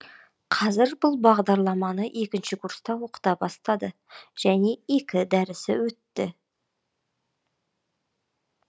қазір бұл бағдарламаны екінші курста оқыта бастады және екі дәрісі өтті